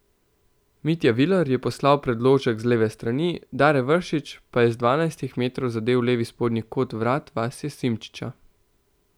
Mitja Viler je poslal predložek z leve strani, Dare Vršič pa je z dvanajstih metrov zadel levi spodnji kot vrat Vasje Simčiča.